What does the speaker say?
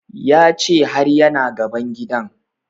Ya ce har ya na gaban gidan